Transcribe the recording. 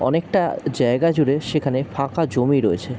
অনেকটা জায়গা জুড়ে সেখানে ফাঁকা জমি রয়েছে ।